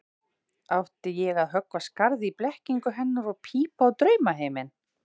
Átti ég að höggva skarð í blekkingu hennar og pípa á draumaheiminn?